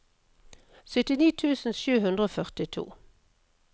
syttini tusen sju hundre og førtito